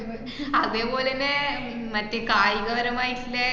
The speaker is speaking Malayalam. അതേ പോലന്നെ ഉം മറ്റ് കായികപരമായിട്ടില്ലേയ്ന്ന്